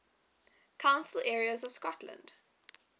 council areas of scotland